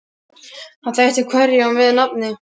Hann þekkti hverja á með nafni.